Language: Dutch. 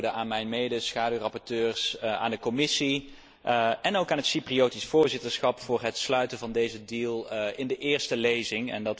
Dankwoorden aan de schaduwrapporteurs, aan de Commissie en ook aan het Cypriotisch Voorzitterschap voor het sluiten van deze deal in de eerste lezing.